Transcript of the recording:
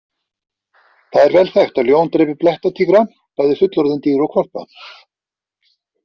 Það er vel þekkt að ljón drepi blettatígra, bæði fullorðin dýr og hvolpa.